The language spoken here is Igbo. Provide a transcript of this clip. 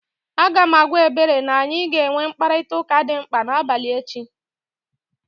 Aga m agwa Ebere na anyị ga-enwe mkparịtaụka dị mkpa n'abalị echi